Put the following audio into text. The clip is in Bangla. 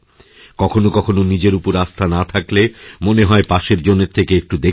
কখনো কখনো নিজের উপর আস্থা না থাকলে মনে হয় পাশের জনের থেকে একটুদেখে নিই